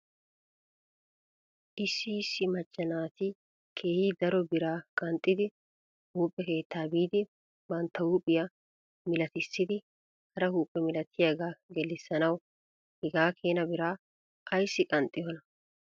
Issi issi macca naati keehi daro biraa qanxxidi huuphphe keettaa biidi bantta huuphphiyaa milatissidi hara huuphe milatiyaagaa gellisanaw hegaa keena biraa ayssi qanxxiyoonaa?